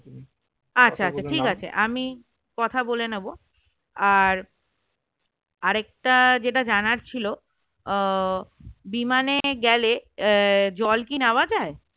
কথা বলে নেব আর আর একটা যেটা জানার ছিল আহ বিমানে গেলে জল কি নেওয়া যায়